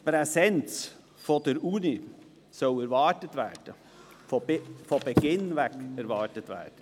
Die Präsenz der Universität soll von Beginn an erwartet werden.